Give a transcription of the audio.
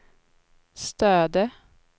Stöde